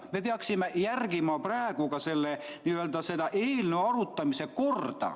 Me peaksime ka järgima seda eelnõu arutamise korda.